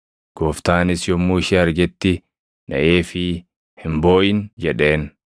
Gooftaanis yommuu ishee argetti naʼeefii, “Hin booʼin” jedheen.